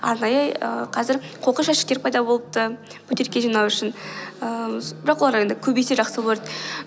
арнайы ііі қазір қоқыс жәшіктер пайда болыпты бөтелке жинау үшін ыыы бірақ олар енді көбейсе жақсы болар еді